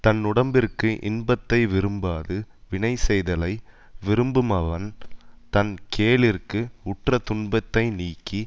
தன்னுடம்பிற்கு இன்பத்தை விரும்பாது வினை செய்தலை விரும்புமவன் தன் கேளிர்க்கு உற்ற துன்பத்தை நீக்கி